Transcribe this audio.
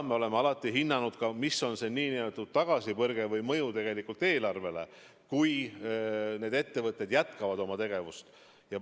Me oleme alati hinnanud ka, mis on see nn tagasipõrge või mõju eelarvele, kui need ettevõtted jätkavad oma tegevust.